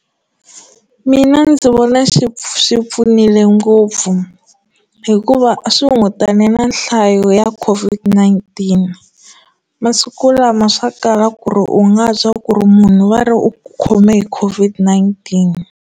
Mina ndzi vona xi pfu swi pfunile ngopfu hikuva a swi hunguta na nhlayo ya COVID-19 masiku lama swa kala ku ri u nga twa ku ri munhu va ri u khome hi COVID-19.